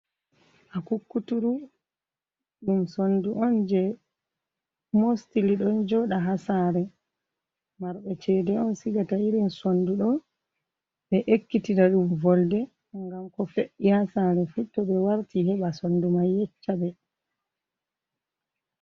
Akukkuturu ɗum sondu on je mostili ɗon joɗa ha sare. marbe cede on sigata irin sonduɗo, ɓe ekkitina ɗum volde gam ko fe’’i ha sare fu to ɓe warti heɓa sondu manyeccaɓe.